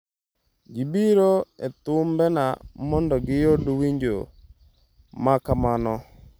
Ji biro e thumbena mondo giyud winjo ma kamano."